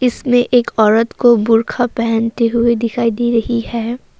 इसमें एक औरत को बुर्खा पहनते हुए दिखाई दे रही है।